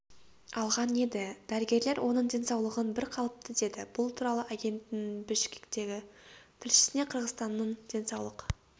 алған еді дәрігерлер оның денсаулығын бір қалыпты деді бұл туралы агенттігінің бішкектегі тілшісіне қырғызстанның денсаулық